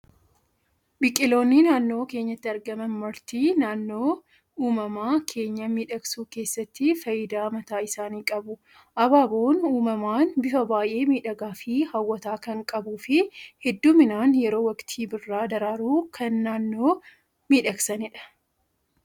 Biqiloonni naannoo keenyatti argaman marti, naannoo uumama keenyaa miidhagsuu keessatti fayidaa mataa isaanii qabu. Abaaboon uumamaan bifa baayyee miidhagaa fi hawwataa kan qabuu fi hedduminaan yeroo waktii birraa daraaruun kan naannoo miidhagsanidha.